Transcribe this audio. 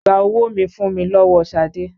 Gba owó mi fùn mi lọ́wọ́ Ṣadé!